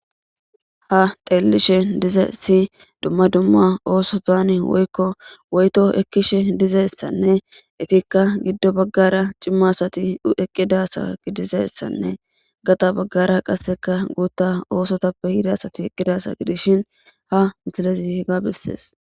Haga xelishn dizaysi dumma dumma osotan woyko woyto ekishe dizaysanne etika gido bagara cima asati eqida asa dizaysanne qaxa bagara qaseka guta osotappe yida asati eqi dizaysa gidishn ha misilez hega beses.